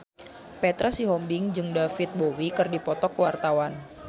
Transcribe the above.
Petra Sihombing jeung David Bowie keur dipoto ku wartawan